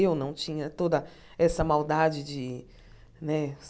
Eu não tinha toda essa maldade de, né?